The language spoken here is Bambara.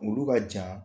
Olu ka jan